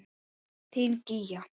Þín Gígja.